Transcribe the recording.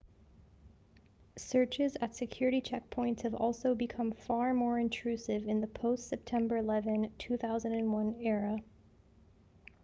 searches at security checkpoints have also become far more intrusive in the post-september 11 2001 era